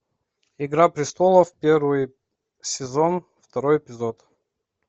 игра престолов первый сезон второй эпизод